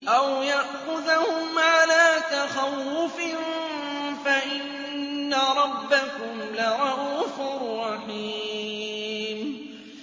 أَوْ يَأْخُذَهُمْ عَلَىٰ تَخَوُّفٍ فَإِنَّ رَبَّكُمْ لَرَءُوفٌ رَّحِيمٌ